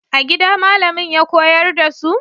A gida malamin ya koyar da su?